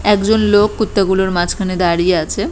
একজন লোক কুত্তা গুলোর মাঝখানে দাঁড়িয়ে আছে।